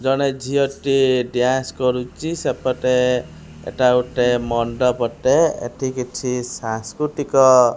ଜଣେ ଝିଅଟିଏ ଡାନ୍ସ କରୁଚି ସେପଟେ ଏଟା ଗୋଟେ ମଣ୍ଡପ ଟେ ଏଠି କିଛି ସାଂସ୍କୃତିକ--